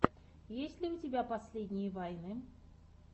есть ли у тебя последние вайны